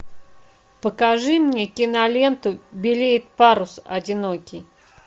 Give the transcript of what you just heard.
покажи мне киноленту белеет парус одинокий